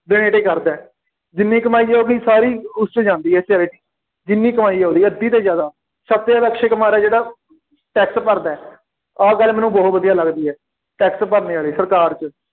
donate ਹੀ ਕਰਦਾ, ਜਿੰਨੀ ਕਮਾਈ ਉਹ ਆਪਣੀ ਸਾਰੀ ਉਸ 'ਚ ਜਾਂਦੀ charity ਜਿੰਨੀ ਕਮਾਈ ਹੈ ਉਹਦੀ ਅੱਧੀ ਤੋਂ ਜ਼ਿਆਦਾ, ਸਭ ਤੋਂ ਜ਼ਿਆਦਾ ਅਕਸ਼ੇ ਕੁਮਾਰ ਹੈ ਜਿਹੜਾ ਟੈਕਸ ਭਰਦਾ, ਆਹ ਗੱਲ ਮੈਨੂੰ ਬਹੁਤ ਵਧੀਆ ਲੱਗਦੀ ਹੈ, ਟੈਕਸ ਭਰਨੇ ਵਾਲੀ, ਸਰਕਾਰ 'ਚ,